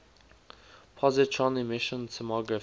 positron emission tomography